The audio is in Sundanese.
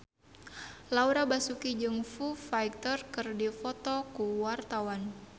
Laura Basuki jeung Foo Fighter keur dipoto ku wartawan